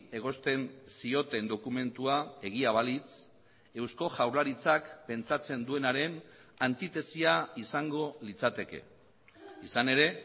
egozten zioten dokumentua egia balitz eusko jaurlaritzak pentsatzen duenaren antitesia izango litzateke izan ere